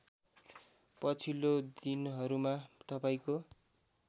पछिल्लो दिनहरूमा तपाईँको